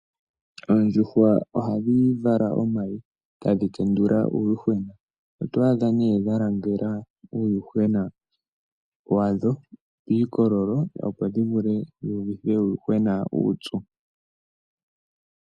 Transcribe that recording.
Oondjuhwa ohadhi vala omayi, etadhi tendila uuyuhwena. Oto adha nee dha langela uuyuhwena wadho piikololo, opo dhi vule dhi uvithe uuyuhwena uupyu.